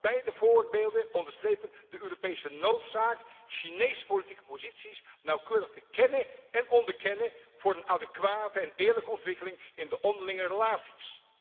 Beide voorbeelden onderstrepen de Europese noodzaak Chinese politieke posities nauwkeurig te kennen en onderkennen voor een adequate en eerlijke ontwikkeling in de onderlinge relaties.